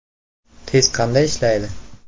Test qanday ishlaydi?